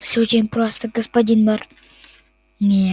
всё очень просто господин мэр не